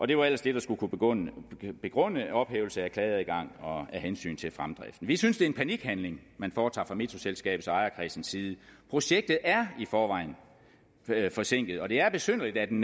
det var ellers det der skulle kunne begrunde begrunde ophævelse af klageadgang af hensyn til fremdriften vi synes det er en panikhandling man foretager fra metroselskabets ejerkreds side projektet er i forvejen forsinket og det er besynderligt at en